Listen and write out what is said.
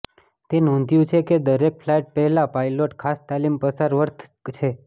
તે નોંધ્યું છે કે દરેક ફ્લાઇટ પહેલાં પાયલોટ ખાસ તાલીમ પસાર વર્થ છે